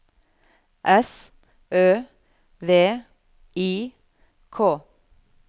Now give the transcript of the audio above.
S Ø V I K